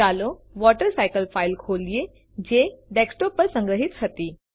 ચાલો water cycle file ખોલીએ જે ડેસ્કટોપ પર સંગ્રહી હતી